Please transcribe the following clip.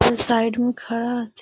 सब साइड में खड़ा हथीन |